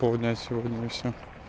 пол дня сегодня сегодня и все